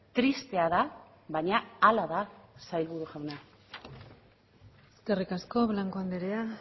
tristea da baina hala da sailburu jauna eskerrik asko blanco andrea